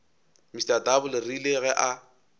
mr double rile ge a